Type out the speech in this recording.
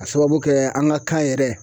A sababu kɛ an ka kan yɛrɛ